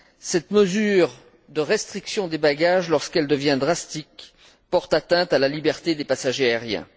Cette mesure de restriction des bagages, lorsqu'elle devient drastique, porte atteinte à la liberté des passagers aériens.